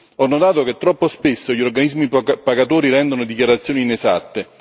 Ho notato che troppo spesso gli organismi pagatori rendono dichiarazioni inesatte.